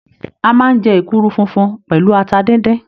A máa n jẹ èkuru funfun pẹlú ata díndín.